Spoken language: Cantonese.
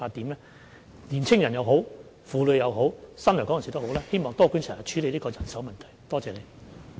無論是在青年人、婦女或新來港人士方面，希望多管齊下，處理人手問題。